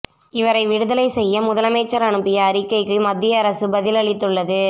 இவரை விடுதலை செய்ய முதலமைச்சர் அனுப்பிய அறிக்கைக்கு மத்திய அரசு பதில் அளித்துள்ளது